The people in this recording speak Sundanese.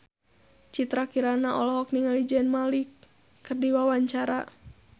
Citra Kirana olohok ningali Zayn Malik keur diwawancara